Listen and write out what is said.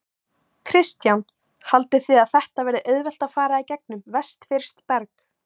Kristján: Haldið þið að þetta verði auðvelt að fara í gegnum vestfirskt berg?